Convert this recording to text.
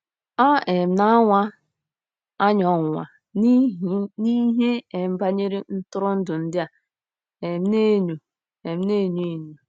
À um na-anwa anyị ọnwụnwa n'ihe um banyere ntụrụndụ ndị a um na-enyo um na-enyo enyo?